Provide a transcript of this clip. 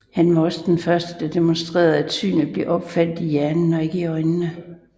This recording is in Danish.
Han var også den første der demonstrerede at synet bliver opfattet i hjernen og ikke i øjnene